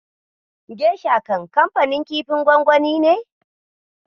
Gesha kanfanin kifin gwangwani ne.